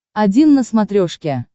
один на смотрешке